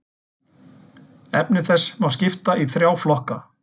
Efni þess má skipta í þrjá flokka.